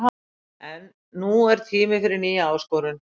En nú er tími fyrir nýja áskorun.